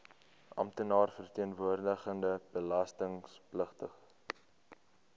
amptenaar verteenwoordigende belastingpligtige